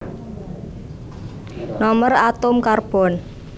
Nomer atom Karbon